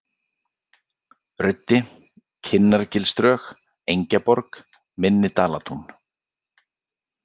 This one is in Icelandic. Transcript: Ruddi, Kinnargilsdrög, Engjaborg, Minni-Dalatún